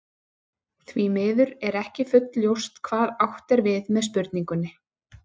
Því miður er ekki fullljóst hvað átt er við með spurningunni.